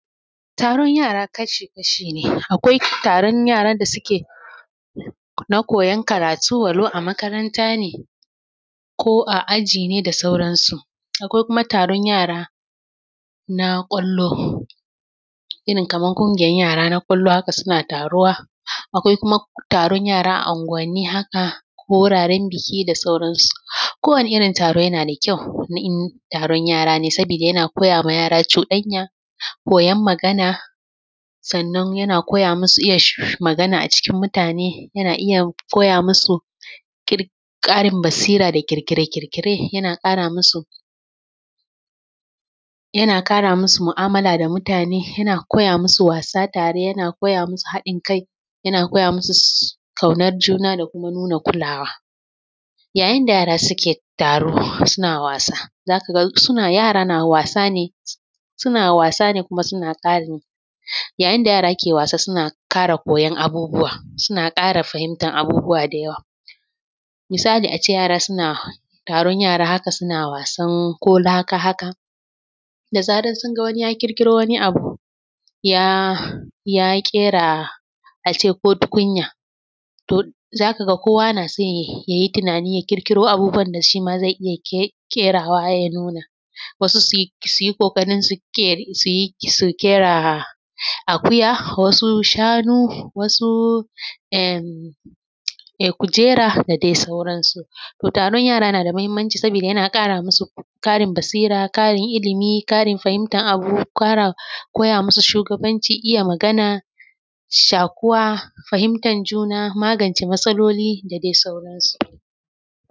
Taron yara kashi-kashi ne, akwai taron yaran da suke na koyon karatu walau a makaranta ne ko a aji ne da sauran su. Akwai kuma taron yara na ƙwallo irin kamar ƙungiyar yara na ƙwallo haka suna taruwa, akwai kuma taron yara a anguwanni haka ko wuraren buki da sauran su. Ko wane irin taro yana da kyau na in taron yara ne, saboda yana koya ma yara cuɗanya, koyon magana sannan yana koya masu iya magana a cikin mutane, yana iya koya masu ƙir ƙarin basira da ƙirƙire-ƙirƙire, yana ƙara masu yana ƙara masu mu’amala da mutane, yana koya masu wasa tare, yana koya masu haɗin kai, yana koya masu ƙaunar juna da kuma nuna kulawa. Yayin da yara suke taro suna wasa zaka ga suna yara na wasa ne su, suna wasa ne kuma suna ƙari, yayin da yara ke wasa, suna ƙara koyon abubuwa suna ƙara fahimtar abubuwa da yawa. Misali a ce yara suna taron yara haka suna wasan ko laka haka da zaran sun ga wani ya ƙirƙiro wani abu ya ƙera a ce ko tukunya, to zaka ga kowa na son yayi tunani ya ƙirƙiro abubuwan da shima zai iya ƙe ƙerawa ya nuna, wasu su su yi ƙoƙari su ƙera akuya, wasu shanu, wasu emm kujera da dai sauran su. To taron yara na da muhimmanci sabida yana ƙara masu ƙarin basira ƙarin ilimi ƙarin fahimtar abu, ƙara koya masu shugabanci, iya magana, shaƙuwa, fahimtar juna, magance matsalaloli da dai sauransu.